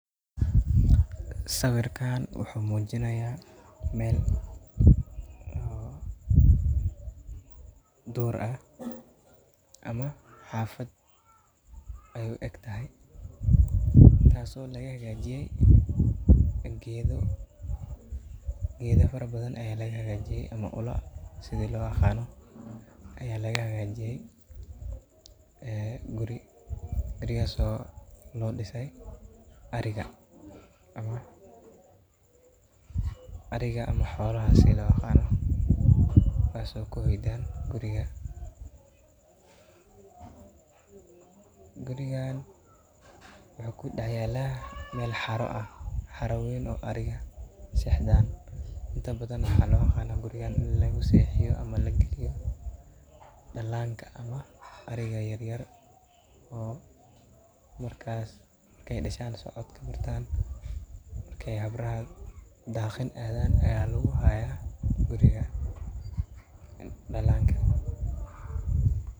Sawirkan wuxu muujinayaa meel, oh, duur ah ama xaafad ay u egtahay. Taaso laga hagaajiye geedo. Geedo farabadan ayaa laga hagaajiye ama ula sidi la u aaqano. Ayaa laga hagaajiye, ee, guri reeyeeo soo loo dhisay arriga. Amma arriga ama xowla si la aqaano. Waasoo ku weydan guriga. Gurigaan way ku dhaxa yaalaa meel xaro ah. Xarawayn oo ariga seexdaan inta badan la aqaaqano gurigaan in lagu seexiyo ama la geliyo dhallaanka ama ariga yaryar oo markaas markay dhashaan soodka bartaan. Markay hab ra daaqen aadaan eeyaa lagugu haaya guriga dhallaanka.